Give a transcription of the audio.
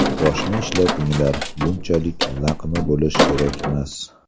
Boshni ishlatinglar, bunchalik laqma bo‘lish kerakmas.